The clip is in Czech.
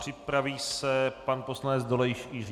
Připraví se pan poslanec Dolejš Jiří.